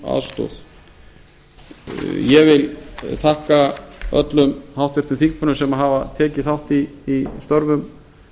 aðstoð ég vil þakka öllum háttvirtum þingmönnum sem hafa tekið þátt í störfum